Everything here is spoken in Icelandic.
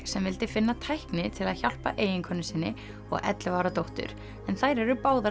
sem vildi finna tækni til að hjálpa eiginkonu sinni og ellefu ára dóttur en þær eru báðar